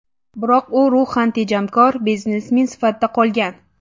Biroq u ruhan tejamkor biznesmen sifatida qolgan.